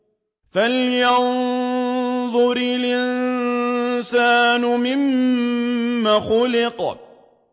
فَلْيَنظُرِ الْإِنسَانُ مِمَّ خُلِقَ